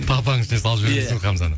талпаның ішіне салып жібересің хамзаны